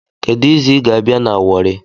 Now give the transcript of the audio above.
Kedu izu ịga-abịa na Wari